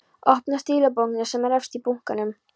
Opnar stílabókina sem er efst í bunkanum.